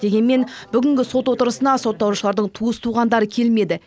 дегенмен бүгінгі сот отырысына сотталушылардың туыс туғандары келмеді